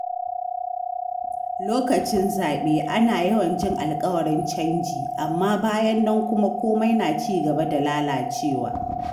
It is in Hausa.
Lokacin zaɓe, ana yawan jin alƙawarin canji, amma bayan nan kuma komai na ci gaba da lalacewa.